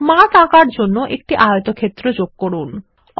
মাঠ আঁকার জন্য একটি আয়তক্ষেত্র যোগ করা যাক